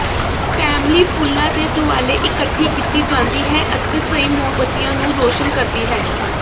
family ਫੁੱਲਾਂ ਦੇ ਦੁਆਲੇ ਇਕੱਠੀ ਕੀਤੀ ਜਾਂਦੀ ਹੈ ਅਤੇ ਸਹੀ ਮੋਮਬੱਤੀਆਂ ਨੂੰ ਰੋਸ਼ਨ ਕਰਦੀ ਹੈ